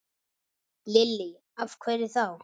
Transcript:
Lillý: Af hverju þá?